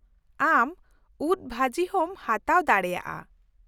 ᱟᱢ ᱩᱫᱽ ᱵᱷᱟᱹᱡᱤ ᱦᱚᱸᱢ ᱦᱟᱛᱟᱣ ᱫᱟᱲᱮᱭᱟᱜᱼᱟ ᱾